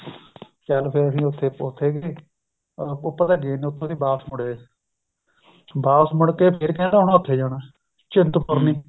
ਚੱਲ ਫ਼ੇਰ ਵੀ ਉੱਪਰ ਤਾਂ ਗਏ ਨਹੀਂ ਵਾਪਿਸ ਮੁੜੇ ਆਏ ਵਾਪਿਸ ਮੁੜ ਕੇ ਫ਼ੇਰ ਕਹਿੰਦਾ ਹੁਣ ਉਥੇ ਜਾਣਾ ਚਿੰਤਪੁਰਣੀ